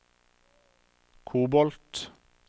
kobolt